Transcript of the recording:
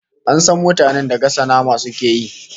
An san mutanen da gasa nama suke yi